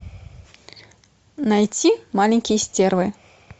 найти маленькие стервы